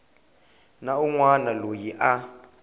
na un wana loyi a